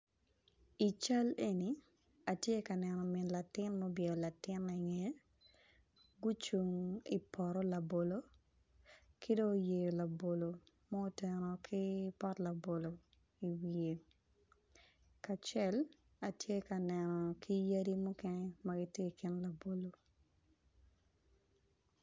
I cal eni atye ka neno min latin ma obwelo latine i nge gucung idipoto labolo kidong oyeo labolo ma oteno ki pot labolo i wiye kacel atye ka neno ki yadi mukene magitye i kin labolo.